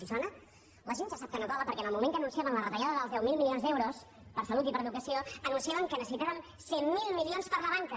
els sona la gent ja sap que no cola perquè en el moment que anunciaven la retallada dels deu mil milions d’euros per a salut i per a educació anunciaven que necessitaven cent miler milions per a la banca